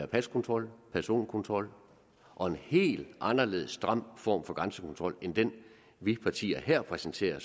paskontrol personkontrol og en helt anderledes og stram form for grænsekontrol end den vi partier her præsenterer